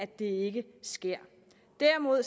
det ikke sker derimod